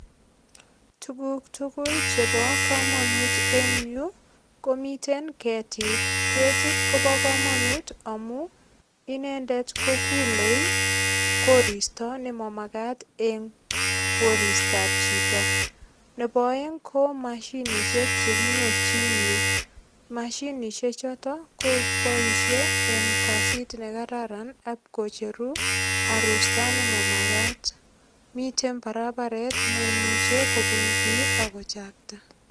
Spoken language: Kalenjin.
Tuguk tugul chebo kamanut en yu komiten ketiik. Ketit kobo kamanut amu inendet ko kulei koristo nema magat en koristab chito. Nebo aeng ko mashinisiek che kinyorchin yu. Mashinisiechoto koboisie en kasit ne kararan ak kocheru arusta ne magat. Miten barabaret neimuche kobun biik ak kochakta.